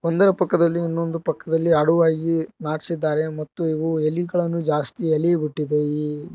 ಒಂದರ ಪಕ್ಕದಲ್ಲಿ ಇನ್ನೊಂದು ಪಕ್ಕದಲ್ಲಿ ಆಡುವ ಈ ನಾಟ್ಸಿದ್ದಾರೆ ಮತ್ತು ಇವು ಎಲಿಗಳನ್ನು ಜಾಸ್ತಿ ಎಲಿ ಬಿಟ್ಟಿದೆ ಈ --